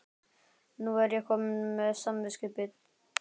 Nú er ég komin með samviskubit.